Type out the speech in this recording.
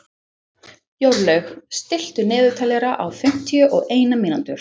Jórlaug, stilltu niðurteljara á fimmtíu og eina mínútur.